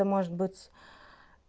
и может быть